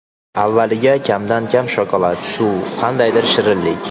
Avvaliga kam-kamdan shokolad, suv, qandaydir shirinlik.